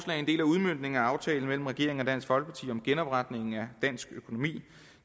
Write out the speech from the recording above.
er en del af udmøntningen af aftalen mellem regeringen og dansk folkeparti om genopretningen af dansk økonomi det